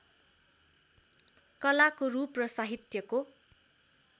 कलाको रूप र साहित्यको